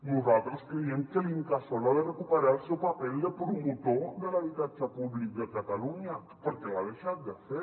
nosaltres creiem que l’incasòl ha de recuperar el seu paper de promotor de l’habitatge públic de catalunya perquè l’ha deixat de fer